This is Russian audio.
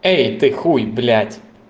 эй ты хуй блять